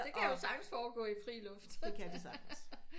Det kan jo sagtens forgå i fri luft